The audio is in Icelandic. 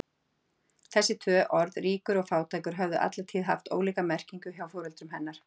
Þessi tvö orð, ríkur og fátækur, höfðu alla tíð haft ólíka merkingu hjá foreldrum hennar.